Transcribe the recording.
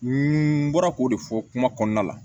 N bɔra k'o de fɔ kuma kɔnɔna la